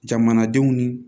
Jamanadenw ni